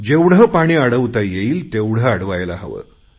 जेवढे पाणी अडवता येईल तेवढे अडवायला हवे